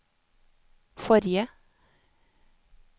forrige